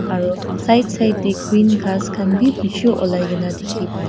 aro side side tey green krass khan beh beshe ulai kena dekhe pai a.